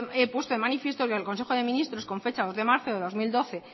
he puesto de manifiesto que el consejo de ministros con fecha dos de marzo de dos mil doce